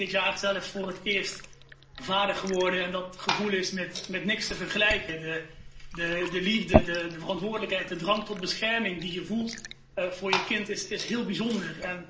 Ik ben dit jaar zelf voor het eerst vader geworden en dat gevoel is met niets te vergelijken. De liefde, de verantwoordelijkheid, de drang tot bescherming die je voelt voor je kind is heel bijzonder.